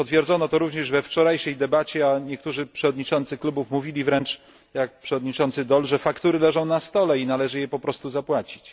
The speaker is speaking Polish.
Potwierdzono to również we wczorajszej debacie, a niektórzy przewodniczący klubów mówili wręcz, jak przewodniczący Daul, że faktury leżą na stole i należy je po prostu zapłacić.